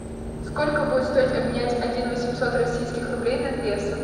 сколько будет стоить обменять один восемьсот российских рублей на песо